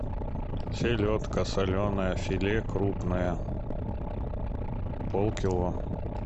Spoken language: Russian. селедка соленая филе крупное полкило